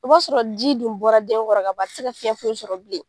I b'a sɔrɔ ji dun bɔra den kɔrɔ a tɛ se ka fɛn foyi sɔrɔ bilen